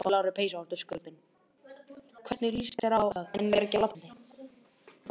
Það gæti ekki verið verra.